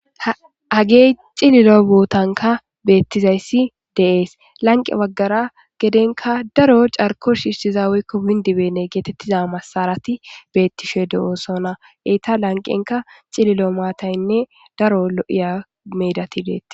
Hagge cilillo bothankka betizayssi de'ss lanqe baggara gedenkka daro carkko shishiza woykko wundi benne gethethiza massarathi bethishe deo'ssonna. Etta lanqenkka cilillo maththayine daro lo'yya methathi dethess.